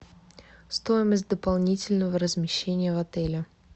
стоимость дополнительного размещения в отеле